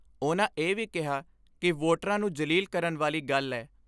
ਉਨ੍ਹਾਂ ਇਹ ਵੀ ਕਿਹਾ ਕਿ ਵੋਟਰਾਂ ਨੂੰ ਜਲੀਲ ਕਰਨ ਵਾਲੀ ਗੱਲ ਏ।